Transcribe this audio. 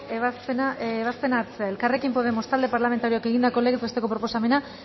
ebazpena hartzea elkarrekin podemos talde parlamentarioak egindako legez besteko proposamena